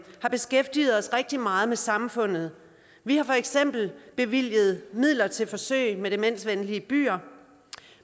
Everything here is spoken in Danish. har beskæftiget os rigtig meget med samfundet vi har for eksempel bevilget midler til forsøg med demensvenlige byer